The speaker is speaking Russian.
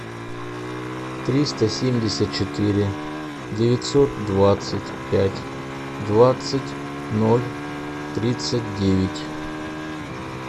триста семьдесят четыре девятьсот двадцать пять двадцать ноль тридцать девять